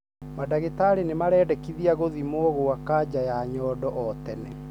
Madagitari nĩmaraendekithia gũthimwo kwa kaja ya nyondo o tene.